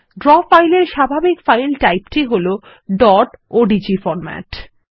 draw file এর স্বাভাবিক file টাইপটি হল ডট ওডিজি ওডিজি ফরম্যাট